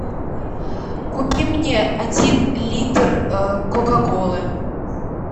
купи мне один литр кока колы